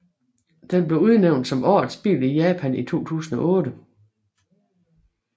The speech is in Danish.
Den blev udnævnt som Årets bil i Japan i 2008